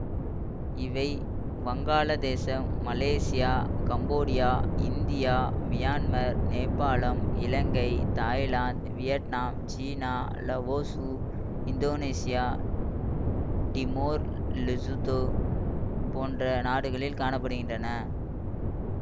இவை வங்காள தேசம் மலேசியா கம்போடியா இந்தியா மியான்மர் நேபாளம் இலங்கை தாய்லாந்து வியட்நாம் சீனா லாவோசு இந்தோனேசியா டிமோர்லெசுதொ போன்ற நாடுகளில் காண படுகின்றன